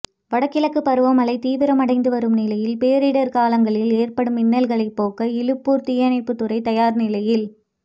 வடகிழக்கு பருவமழை தீவிரமடைந்து வரும் நிலையில் பேரிடைகாலங்களில் ஏற்படும் இன்னல்களை போக்க இலுப்பூா் தீயணைப்புதுறை தயாா் நிலையில்